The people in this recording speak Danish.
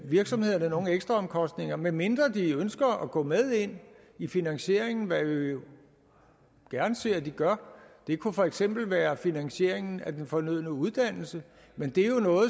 virksomhederne nogen ekstraomkostninger medmindre de ønsker at gå med ind i finansieringen hvad vi jo gerne ser de gør det kunne for eksempel være finansieringen af den fornødne uddannelse